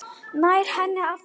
Nær henni aftur.